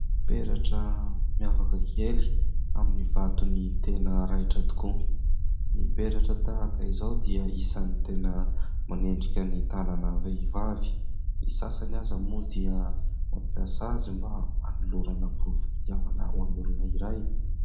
Peratra miavaka kely amin'ny vatony tena raitra tokoa. Ny peratra tahaka izao dia isan'ny tena manendrika ny tanana vehivavy, ny sasany aza moa dia mampiasa azy mba hanolorana porofom-pitiavana ho an'olona iray.